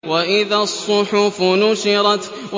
وَإِذَا الصُّحُفُ نُشِرَتْ